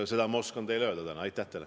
Seda oskan ma teile täna öelda.